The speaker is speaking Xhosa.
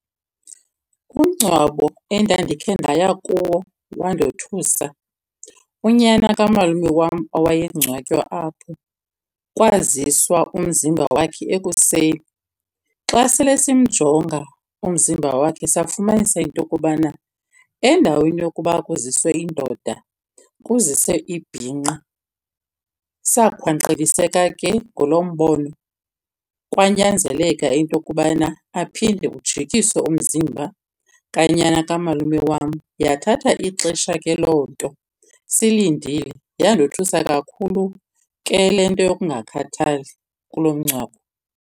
Umngcwabo endandikhe ndaya kuwo wandothusa, unyana kamalume wam owayengcwatywa apho kwaziswa umzimba wakhe ekuseni. Xa sele simjonga umzimba wakhe safumanisa into yokubana endaweni yokuba kuziswe indoda kuziswe ibhinqa. Sakhwankqekiseka ke ngulo mbono kwanyanzeleka into yokubana aphinde ujikisiwe umzimba kanyana kamalume wam. Yathatha ixesha ke loo nto silindile. Yandothusa kakhulu ke le nto yokungakhathali kulo mngcwabo.